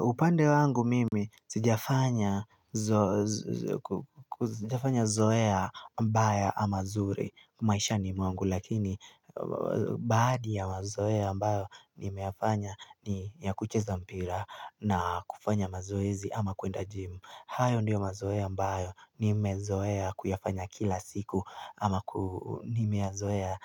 Upande wangu mimi sijafanya zoea mbaya ama nzuri maishani mwangu, lakini badi ya mazoea ambayo nimeyafanya ni ya kucheza mpira na kufanya mazoezi ama kuenda gym. Hayo ndiyo mazoea ambayo nimezoea kuyafanya kila siku ama Nimeyazoea